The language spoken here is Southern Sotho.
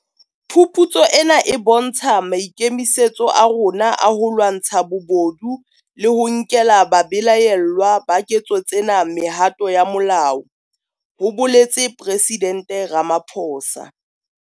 Phuputso ena e bontsha maikemisetso a rona a ho lwantsha bobodu le ho nkela babelaellwa ba ketso tsena mehato ya molao, ho boletse Presidente Ramaphosa.